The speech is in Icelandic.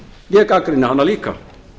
ég gagnrýni hana líka